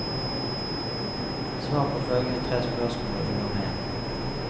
Svar på følgende tre spørsmål, og du er med.